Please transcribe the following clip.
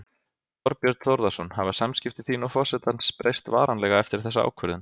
Þorbjörn Þórðarson: Hafa samskipti þín og forsetans breyst varanlega eftir þessa ákvörðun?